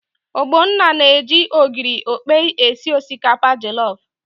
Ogbonna na-eji ogiri okpei esi osikapa jọlọf.